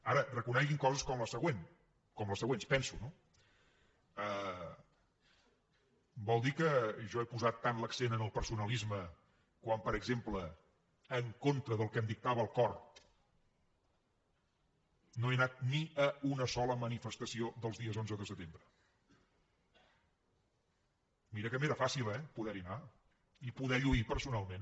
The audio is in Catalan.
ara reconeguin coses com la següent com les següents ho penso no vol dir que jo he posat tant l’accent en el personalisme quan per exemple en contra del que em dictava el cor no he anat ni a una sola manifestació dels dies onze de setembre mira que m’era fàcil eh poderhi anar i poder lluir personalment